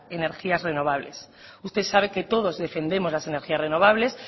energías renovables usted sabe que todos defendemos las energías renovables